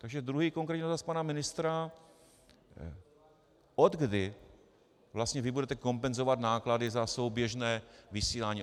Takže druhý konkrétní dotaz na pana ministra, odkdy vlastně vy budete kompenzovat náklady za souběžné vysílání?